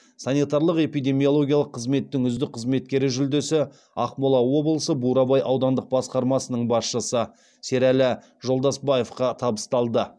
санитарлық эпидемиологиялық қызметтің үздік қызметкері жүлдесі ақмола облысы бурабай аудандық басқармасының басшысы серәлі жолдасбаевқа табысталды